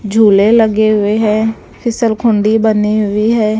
झूले लगे हुए हैं फिसलखुंडी बनी हुई हैं।